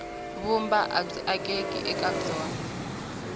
vumba abyi akeki eka byona